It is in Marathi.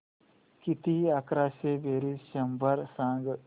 किती अकराशे बेरीज शंभर सांग